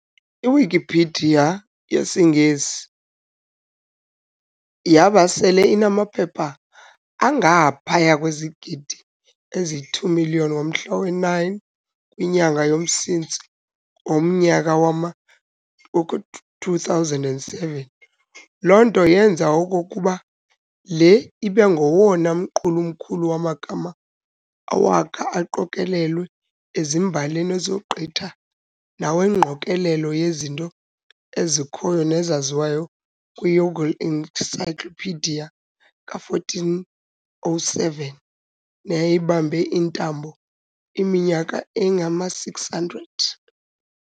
I-Wikipedia yesiNgesi yaba sele inamaphepha angaphaya kwezigidi ezi-2 million ngomhla we-9 kwinyanga yomSintsi ngomnyaka wama-2007, loo nto yenza okokuba le ibe ngowona mqulu mkhulu wamagama awakha aqokolelwa ezimbalini, esogqitha nawengqokolela yezinto ezikhoyo nezaziwayo kwiYongle Encyclopedia, 1407, neyayibambe iintambo iminyaka engama- 600.